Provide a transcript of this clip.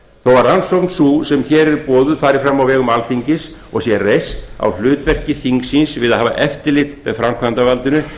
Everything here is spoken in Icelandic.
að rannsókn sú sem hér er boðuð fari fram á vegum alþingis og sé reist á hlutverki þingsins við að hafa eftirlit með framkvæmdarvaldinu